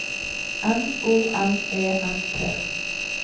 M O M E N T